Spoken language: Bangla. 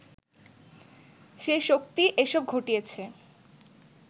সে শক্তি এসব ঘটিয়েছে